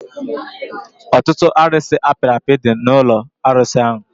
Ọtụtụ arusi apiri api dị n'ụlọ arụsi ahụ